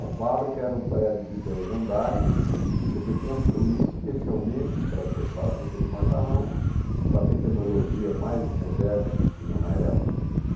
A fábrica era um prédio de dois andares, quer dizer, construído especialmente para ser fábrica de macarrão, com a tecnologia mais moderna que tinha na época.